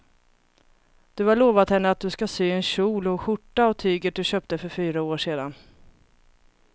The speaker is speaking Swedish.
Du har lovat henne att du ska sy en kjol och skjorta av tyget du köpte för fyra år sedan.